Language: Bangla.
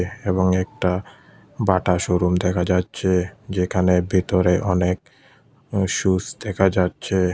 এবং একটা বাটা শোরুম দেখা যাচ্ছে যেখানে ভেতরে অনেক সুস দেখা যাচ্ছে।